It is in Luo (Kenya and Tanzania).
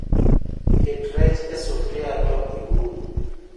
Ket rech e sufria to ium